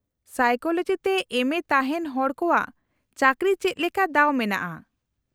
-Psychology ᱛᱮ ᱮᱢᱹᱮ ᱛᱟᱦᱮᱸᱱ ᱦᱚᱲ ᱠᱚᱣᱟᱜ ᱪᱟᱠᱨᱤ ᱪᱮᱫ ᱞᱮᱠᱟ ᱫᱟᱣ ᱢᱮᱱᱟᱜᱼᱟ ?